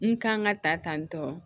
N kan ka ta tan tɔ